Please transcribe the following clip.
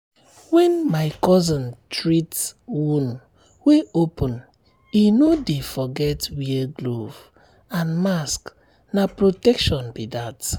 when my cousin treat um wound wey open e no dey forget wear glove and mask na protection be that.